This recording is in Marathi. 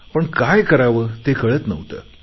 पण काय करावे ते कळत नव्हते